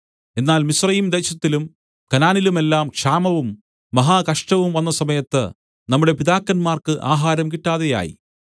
എന്നാൽ മിസ്രയീംദേശത്തിലും കനാനിലുമെല്ലാം ക്ഷാമവും മഹാകഷ്ടവും വന്നസമയത്ത് നമ്മുടെ പിതാക്കന്മാർക്ക് ആഹാരം കിട്ടാതെയായി